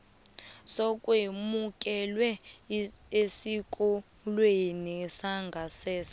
sokwemukelwa esikolweni sangasese